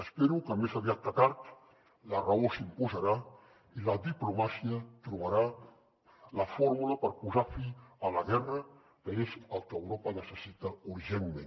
espero que més aviat que tard la raó s’imposarà i la diplomàcia trobarà la fórmula per posar fi a la guerra que és el que europa necessita urgentment